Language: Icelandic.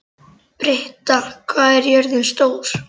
Britta, hvað er jörðin stór?